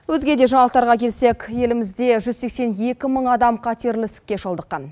өзге де жаңалықтарға келсек елімізде жүз сексен екі мың адам қатерлі ісікке шалдыққан